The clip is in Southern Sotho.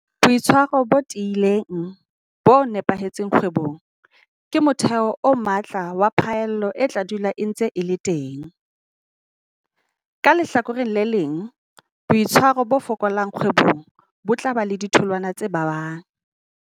Boitshwaro bo tiileng, bo nepahetseng kgwebong, ke motheo o matla wa phaello e tla dula e ntse e le teng. Ka lehlakoreng le leng, boitshwaro bo fokolang kgwebong bo tla ba le ditholwana tse babang.